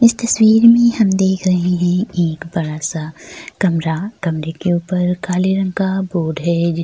इस तस्वीर में हम देख रहें हैं एक बड़ा सा कमरा कमरे के ऊपर काले रंग का बोर्ड है।